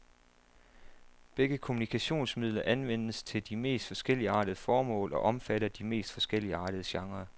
Begge kommunikationsmidler anvendes til de mest forskelligartede formål og omfatter de mest forskelligartede genrer.